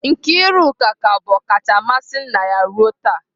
Nkiruka ka bụ ọkacha mmasị nna ya ruo taa.